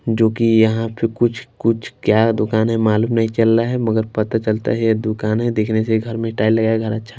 जो कि यहां पे कुछ-कुछ क्या दुकान है मालूम नहीं चल रहा हैमगर पता चलता हैये दुकान है देखने से घर में टाइल लगा हैघर अच्छा--